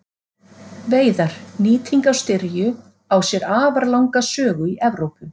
Veiðar Nýting á styrju á sér afar langa sögu í Evrópu.